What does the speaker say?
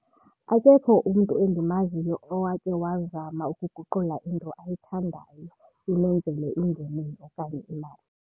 Akekho umntu endimaziyo owake wazama ukuguqula into ayithandayo imenzele ingeniso okanye imali.